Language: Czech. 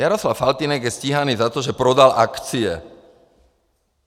Jaroslav Faltýnek je stíhaný za to, že prodal akcie.